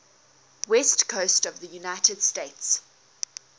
west coast of the united states